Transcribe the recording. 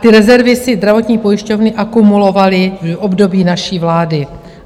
Ty rezervy si zdravotní pojišťovny akumulovaly v období naší vlády.